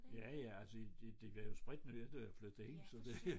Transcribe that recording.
Ja ja altså de var jo spritnye da jeg flyttede ind så det